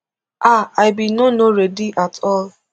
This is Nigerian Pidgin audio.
ah i bin no no ready at all